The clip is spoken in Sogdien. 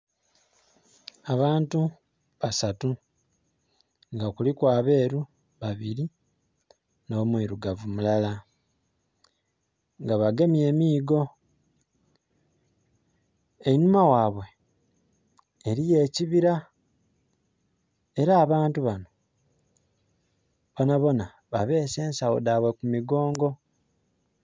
Abantu basatu nga kuliku aberu babiri no mwirugavu mulala nga bagemye emigo einhuma ghaibwe eriyo ekibira era abantu bano bonabona babese esagho dheibwe ku mi gongo.